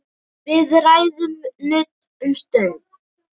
Við ræðum nudd um stund.